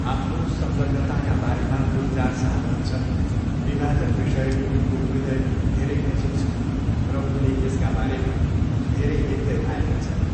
आफ्नो संलग्नताका बारेमा गुलजार साहब भन्छन्, विभाजन विषय उनको हृदयको धेरै नजिक छ र उनले यसका बारेमा धेरै लेख्दै आएका छन्।